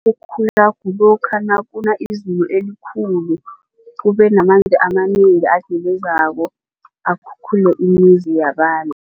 kulokha nakuna izulu elikhulu kubenamanzi amanengi agelezako akhukhule imizi yabantu.